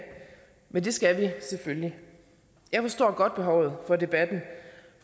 men det skal vi selvfølgelig jeg forstår godt behovet for debatten